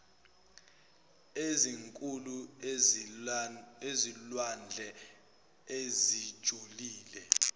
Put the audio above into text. ezinkulu ezilwandle ezijulile